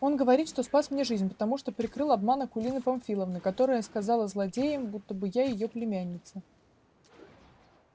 он говорит что спас мне жизнь потому что прикрыл обман акулины памфиловны которая сказала злодеям будто бы я её племянница